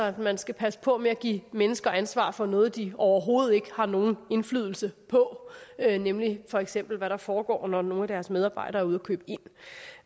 at man skal passe på med at give mennesker ansvar for noget de overhovedet ikke har nogen indflydelse på nemlig for eksempel hvad der foregår når nogle af deres medarbejdere er ude